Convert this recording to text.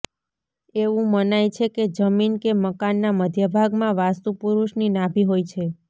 એવું મનાય છે કે જમીન કે મકાનના મધ્યભાગમાં વાસ્તુ પુરુષની નાભી હોય છે